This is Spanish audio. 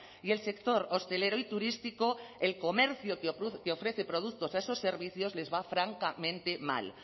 y el sector hostelero y turístico el comercio que ofrece productos a esos servicios les va francamente mal